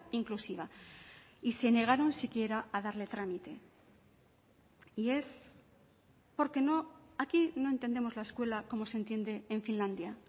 inclusiva y se negaron siquiera a darle trámite y es porque no aquí no entendemos la escuela como se entiende en finlandia